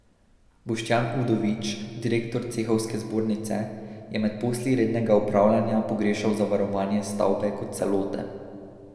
Boštjan Udovič, direktor cehovske zbornice, je med posli rednega upravljanja pogrešal zavarovanje stavbe kot celote.